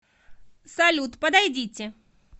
салют подойдите